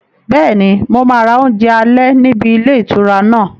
Bẹ́ẹ̀ni, mo máa ra oúnjẹ alẹ́ níbi ilé ìtura náà